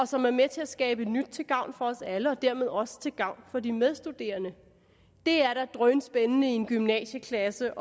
som er med til at skabe nyt til gavn for os alle og dermed også til gavn for de medstuderende det er da drønspændende i en gymnasieklasse